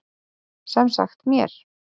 Sem sagt mér.